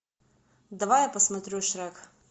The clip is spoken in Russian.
давай я посмотрю шрек